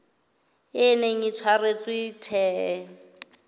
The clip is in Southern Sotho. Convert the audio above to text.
e neng e tshwaretswe the